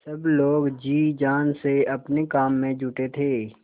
सब लोग जी जान से अपने काम में जुटे थे